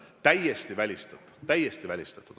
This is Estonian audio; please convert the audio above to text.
Täiesti välistatud, täiesti välistatud.